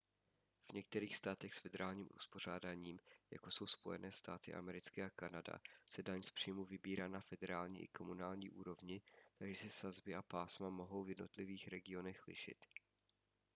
v některých státech s federálním uspořádáním jako jsou spojené státy americké a kanada se daň z příjmu vybírá na federální i komunální úrovni takže se sazby a pásma mohou v jednotlivých regionech lišit